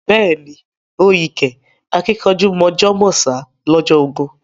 Beeni o yí kẹ́ àkìnkanjú mọ̀jọ̀ mọ̀sá lọ́jọ́ ogún